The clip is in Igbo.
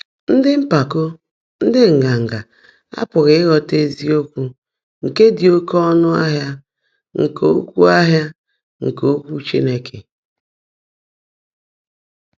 Ndị́ mpákó, ndị́ ngángá, ápughị́ íghọ́tá ézíokwú ndị́ ḍị́ óké ọ́nụ́ áhị́a nkè Ókwụ́ áhị́a nkè Ókwụ́ Chínekè.